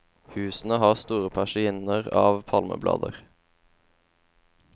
Husene har store persienner av palmeblader.